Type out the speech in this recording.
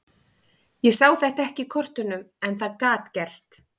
Ég sá þetta ekki í kortunum en það gat gerst.